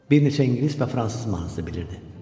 Bir neçə ingilis və fransız mahnısı bilirdi.